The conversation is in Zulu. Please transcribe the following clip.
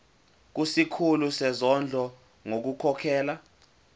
kusikhulu sezondlo ngokukhokhela